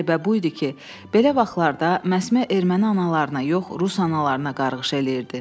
Qəribə bu idi ki, belə vaxtlarda məsmə erməni analarına yox, rus analarına qarğış eləyirdi.